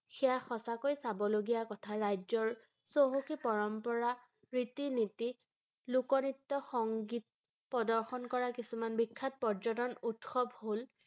সেয়া সচাঁকৈয়ে চাবলগীয়া কথা ৷ ৰাজ্যৰ চহকী পৰম্পৰা, ৰীতি-নীতি, লোক-নৃত্য, সংগীত প্ৰদৰ্শন কৰা কিছুমান বিখ্যাত পৰ্যটন উৎসৱ হ’ল